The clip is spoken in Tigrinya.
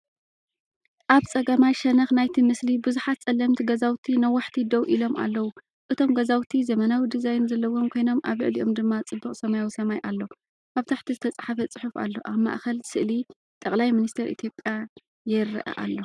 ኣብ ጸጋማይ ሸነኽ ናይቲ ምስሊ፡ ብዙሓት ጸለምቲ ገዛውቲ ነዋሕቲ ደው ኢሎም ኣለዉ። እቶም ገዛውቲ ዘመናዊ ዲዛይን ዘለዎም ኮይኖም ኣብ ልዕሊኦም ድማ ጽቡቕ ሰማያዊ ሰማይ ኣሎ። ኣብ ታሕቲ ዝተፀሓፈ ጽሑፍ ኣሎ። ኣብ ማእከል ስእሊ ጠቅላይ ሚኒስተር ኢትዮጵያ የረአ ኣሎ።